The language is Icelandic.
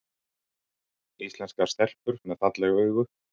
Íslenskar stelpur með falleg augu